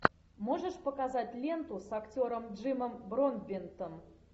можешь показать ленту с актером джимом бродбентом